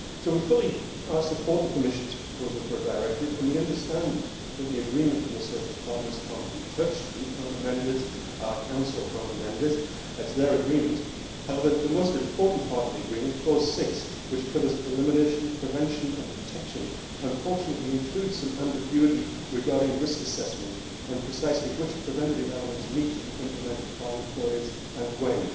We fully support the Commission's proposal for a directive, and we understand that the agreement from the social partners cannot be touched. We cannot amend it. Council cannot amend it. It is their agreement. However, the most important part of the agreement, clause 6, which covers elimination, prevention and protection, unfortunately includes some ambiguity regarding risk assessment and precisely which preventative elements need to be implemented by employers and when.